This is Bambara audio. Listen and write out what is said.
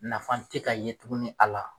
Nafa tɛ ka ye tuguni a la.